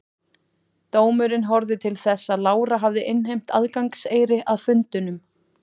Dómurinn horfði til þess að Lára hafði innheimt aðgangseyri að fundunum.